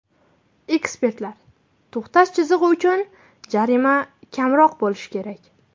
Ekspertlar: to‘xtash chizig‘i uchun jarima kamroq bo‘lishi kerak.